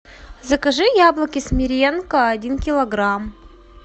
закажи яблоки семеренко один килограмм